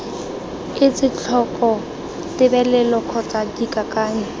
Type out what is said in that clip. etse tlhoko tebelelo kgotsa dikakanyo